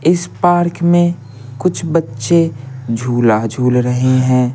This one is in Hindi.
इस पार्क में कुछ बच्चे झूला झूल रहे हैं।